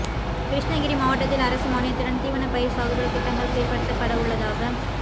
கிருஷ்ணகிரி மாவட்டத்தில் அரசு மானியத்துடன் தீவனப் பயிர் சாகுபடி திட்டங்கள் செயல்படுத்தப்படவுள்ளதாக